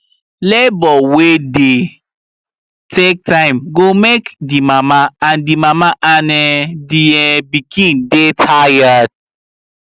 labour wey dey take time go make the mama and the mama and um the um pikin dy tired